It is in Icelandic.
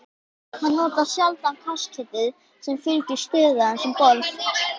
Hann notar sjaldan kaskeitið sem fylgir stöðu hans um borð.